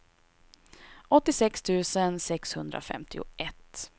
åttiosex tusen sexhundrafemtioett